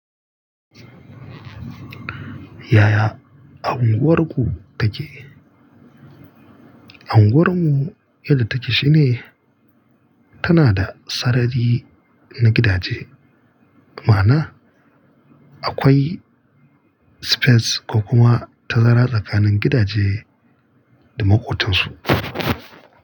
Yaya a unguwarku take? Unguwar mu yadda take shine tana da sarari na gidaje, ma'ana akwai space ko kuma tazara tsakanin gidaje da makotansu.